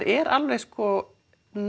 er alveg sko